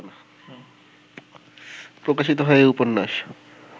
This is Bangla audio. প্রকাশিত হয় এই উপন্যাস